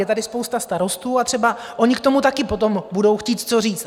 Je tady spousta starostů a třeba oni k tomu taky potom budou chtít co říct.